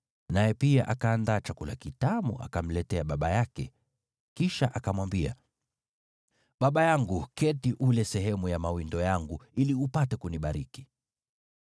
Naye pia akaandaa chakula kitamu akamletea baba yake. Kisha akamwambia, “Baba yangu, keti ule sehemu ya mawindo yangu, ili upate kunibariki.”